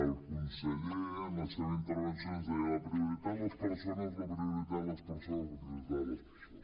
el conseller en la seva interven·ció ens deia la prioritat les persones la prioritat les persones la prioritat les persones